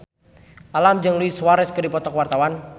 Alam jeung Luis Suarez keur dipoto ku wartawan